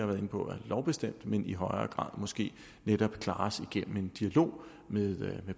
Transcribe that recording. været inde på er lovbestemt men i højere grad måske netop klares igennem en dialog med